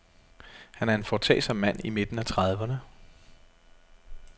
Han er en foretagsom mand i midten af trediverne.